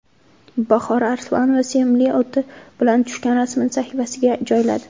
Bahora Arslonova sevimli oti bilan tushgan rasmini sahifasiga joyladi.